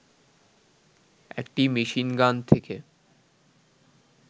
একটি মেশিনগান থেকে